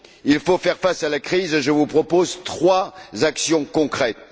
Il faut faire face à la crise et je vous propose trois actions concrètes.